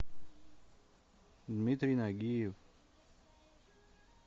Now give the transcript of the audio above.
дмитрий нагиев